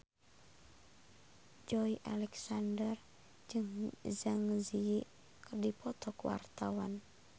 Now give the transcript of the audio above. Joey Alexander jeung Zang Zi Yi keur dipoto ku wartawan